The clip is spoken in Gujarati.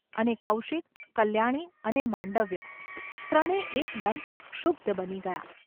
અને કૌશિક, કલ્યાણી અને માંડવ્ય, ત્રણે એકદમ ક્ષુબ્ધ બની ગયાં.